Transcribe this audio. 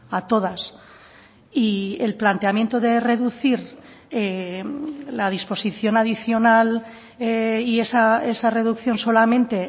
a todas y el planteamiento de reducir la disposición adicional y esa reducción solamente